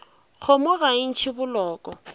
kgomo ga e ntšhe boloko